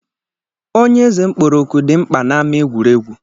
Onye eze kpọrọ òkù dị mkpa n'ámá egwuregwu